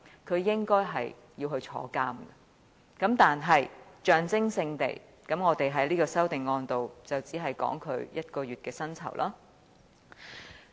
他應該要坐牢，但我們在這項修正案只能象徵式地提出削減他1個月的薪酬。